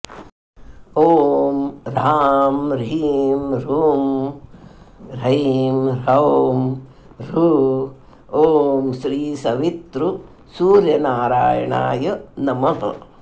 ॐ ह्रां ह्रीं ह्रूं ह्रैं ह्रौं ह्रः ॐ श्रीसवितृसूर्यनारायणाय नमः